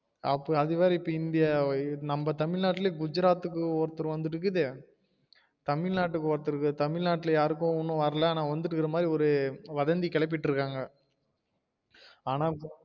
அப்ப அது வேற இந்தியா நம்ம தமிழ் நாட்டுல குஜராத் ஒருத்தருக்கு வந்திருக்குது தமிழ்நாடு ஒருத்தருக்கு தமிழ்நாட்டுல யாருக்கும் வரல்ல ஆனால் வந்திட்டு இருக்குற மாரி வதந்தி கிளப்பிட்டு இருகாங்க ஆனால்